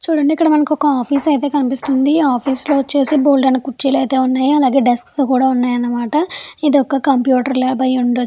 చుడండి ఇంకా మనకి ఒక్క ఆఫీస్ అయితే కనిపిస్తుంది ఆఫీస్ లో వచ్చేసి బోలిడని కుర్చీలు అయితే ఉన్నాయో అలాగే డెస్క్ కూడా ఉన్నాయి అన్నమాట. ఇది ఒక కంప్యూటర్ ల్యాబ్ లాగా అయతె వుంది.